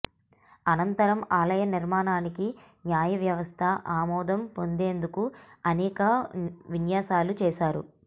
అనంతరం ఆలయ నిర్మాణానికి న్యాయ వ్యవస్థ ఆమోదం పొందేందుకు అనేక విన్యాసాలు చేశారు